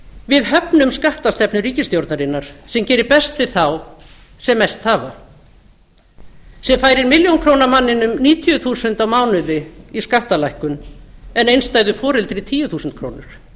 við höfnum skattastefnu ríkisstjórnarinnar sem gerir best við þá sem mest hafa sem færir jól jónkrónamanninum níutíu þúsund á mánuði í skattalækkun en einstæðu foreldri tíu þúsund krónur